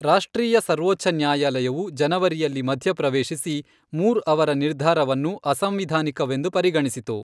ರಾಷ್ಟ್ರೀಯ ಸರ್ವೋಚ್ಛ ನ್ಯಾಯಾಲಯವು ಜನವರಿಯಲ್ಲಿ ಮಧ್ಯಪ್ರವೇಶಿಸಿ, ಮೂರ್ ಅವರ ನಿರ್ಧಾರವನ್ನು ಅಸಂವಿಧಾನಿಕವೆಂದು ಪರಿಗಣಿಸಿತು.